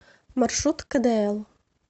маршрут кэдээл